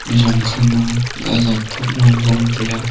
ejong kha ma dazat thop ma vong tai a.